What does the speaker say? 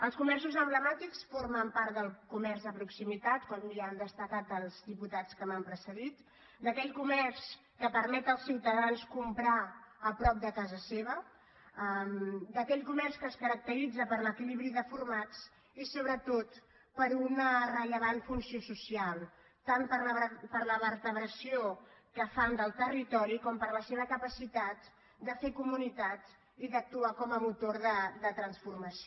els comerços emblemàtics formen part del comerç de proximitat com ja han destacat els diputats que m’han precedit d’aquell comerç que permet als ciutadans comprar a prop de casa seva d’aquell comerç que es caracteritza per l’equilibri de formats i sobretot per una rellevant funció social tant per la vertebració que fan del territori com per la seva capacitat de fer comunitat i d’actuar com a motor de transformació